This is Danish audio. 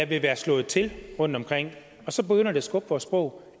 vil være slået til rundtomkring og så begynder det at skubbe vores sprog